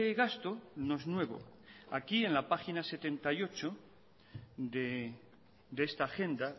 gasto no es nuevo aquí en la página setenta y ocho de esta agenda